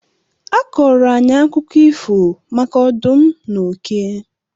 A kọọrọ anyị akụkọ ifo maka ọdụm na oke.